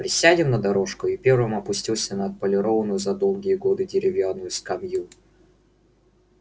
присядем на дорожку и первым опустился на отполированную за долгие годы деревянную скамью